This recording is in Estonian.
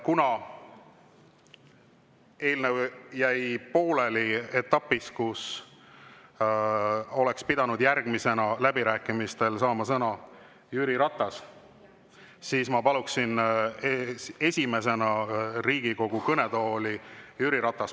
Kuna eelnõu jäi pooleli etapis, kus oleks pidanud järgmisena läbirääkimistel saama sõna Jüri Ratas, siis ma palun esimesena Riigikogu kõnetooli Jüri Ratase.